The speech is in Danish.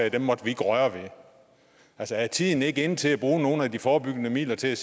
ikke måtte røre ved altså er tiden ikke inde til at bruge nogle af de forebyggende midler til